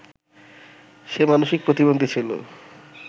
সে মানসিক প্রতিবন্ধী ছিল